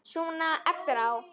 Svona eftir á.